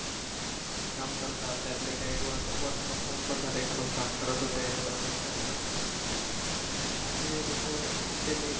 काम करतात त्यातले काही work from home पण झाले घरून काम करत होते तर मग काय झालं असे लोक खूप त्यांनी